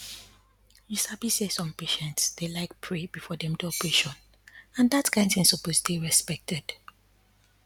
you sabi say some patients dey like pray before dem do operation and dat kind thing suppose dey respected